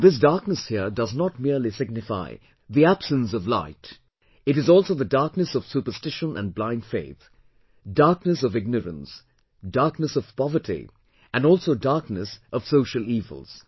And, this darkness here does not merely signify the absence of light; it is also the darkness of superstition and blindfaith, darkness of ignorance, darkness of poverty and also darkness of social evils